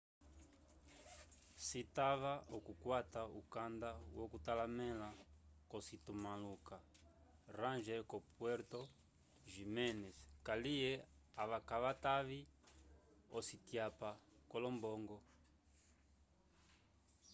citava okukwata ukanda yo kutalamela ko citumalo ca ranger ko puerto jiménez kaliye ava kavatavi ocityapa co lombongo